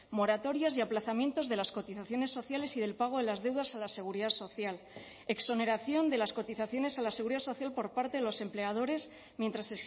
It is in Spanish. moratorias y aplazamientos de las cotizaciones sociales y del pago de las deudas a la seguridad social exoneración de las cotizaciones a la seguridad social por parte de los empleadores mientras